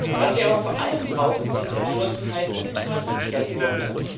Was wir aber vor allem brauchen, sind Entschlossenheit und Taten statt Worte.